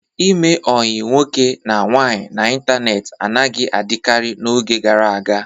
Ime ọyi nwoke na nwaanyị n'ịntanetị anaghị adịkarị n'oge gara aga.